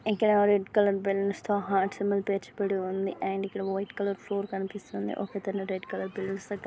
ఇక్కడ red colour balloons తో heart symbol పేర్చబడి ఉంది అండ్ ఇక్కడ వైట్ కలర్ ఫ్లోర్ కనిపిస్తుంది ఒక అతను రెడ్ కలర్ బెలూన్ స్ దగ్గర --